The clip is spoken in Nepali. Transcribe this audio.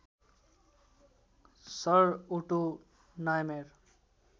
sir Otto Niemeyer